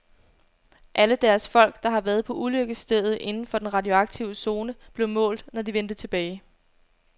Alle deres folk, der havde været på ulykkesstedet inden for den radioaktive zone, blev målt, når de vendte tilbage.